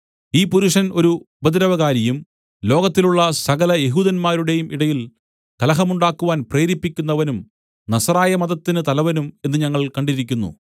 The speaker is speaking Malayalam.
ഈ പുരുഷൻ ഒരു ഉപദ്രവകാരിയും ലോകത്തിലുള്ള സകല യെഹൂദന്മാരുടെയും ഇടയിൽ കലഹമുണ്ടാക്കുവാൻ പ്രേരിപ്പിക്കുന്നവനും നസറായമതത്തിന് തലവനും എന്ന് ഞങ്ങൾ കണ്ടിരിക്കുന്നു